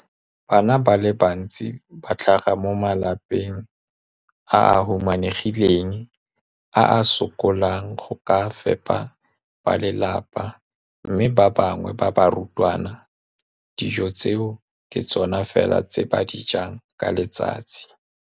Bana ba le bantsi ba tlhaga mo malapeng a a humanegileng a a sokolang go ka fepa ba lelapa mme ba bangwe ba barutwana, dijo tseo ke tsona fela tse ba di jang ka letsatsi.